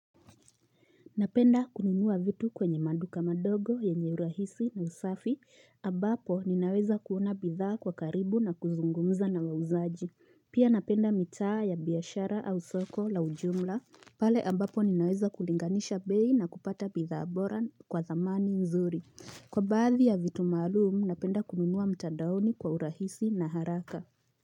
Napenda kununua vitu kwenye maduka madogo yenye urahisi na usafi, ambapo ninaweza kuona bithaa kwa karibu na kuzungumza na wauzaji. Pia napenda mitaa ya biashara au soko la ujumla, pale ambapo ninaweza kulinganisha bei na kupata bidhaa bora kwa dhamani nzuri. Kwa baadhi ya vitu maalum, napenda kununua mtandaoni kwa urahisi na haraka.